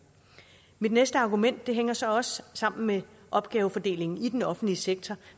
mit næste argument hænger så også sammen med opgavefordelingen i den offentlige sektor